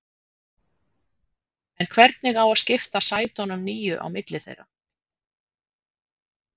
En hvernig á að skipta sætunum níu á milli þeirra?